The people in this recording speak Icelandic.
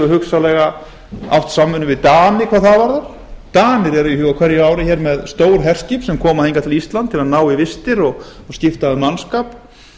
hugsanlega átt samvinnu við dani hvað það varðar danir eru hér á hverju ári með stór herskip sem koma hingað til íslands til að ná í vistir og skipta um mannskap